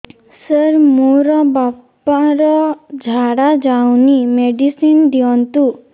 ସାର ମୋର ବାପା ର ଝାଡା ଯାଉନି ମେଡିସିନ ଦିଅନ୍ତୁ